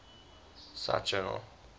cite journal journal